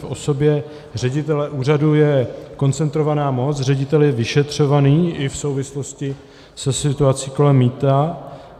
V osobě ředitele úřadu je koncentrovaná moc, ředitel je vyšetřován i v souvislosti se situací kolem mýta.